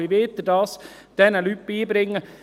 Wie wollen Sie das diesen Leuten beibringen?